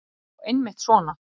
Já, eitthvað svona.